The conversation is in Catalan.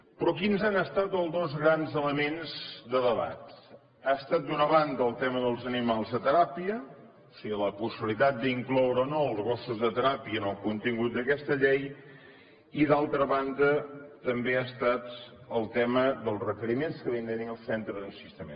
però quins han estat els dos grans elements de debat ha estat d’una banda el tema dels animals de teràpia o sigui la possibilitat d’incloure o no els gossos de teràpia en el contingut d’aquesta llei i d’altra banda també ha estat el tema dels requeriments que havien de tenir els centres d’ensinistrament